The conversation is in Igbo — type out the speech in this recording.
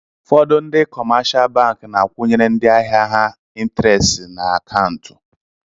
ụfọdụ ndị kọmáshá bankị na-akwunyere ndị ahịa ha ịntịréstì n'akauntù